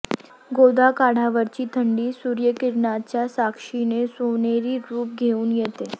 गोदाकाठावरची थंडी सूर्यकिरणांच्या साक्षीने सोनेरी रूप घेऊन येते